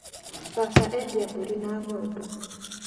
Baba endia mbũri na ng'ondu